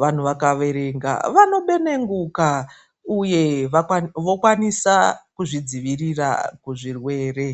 Vantu vakawerenga vanobenenguka uye vokwanisa kuzvidziwirira kuzvirwere.